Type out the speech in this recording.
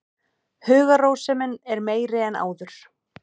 Hugarrósemin er meiri en áður.